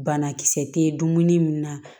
Banakisɛ tɛ dumuni min na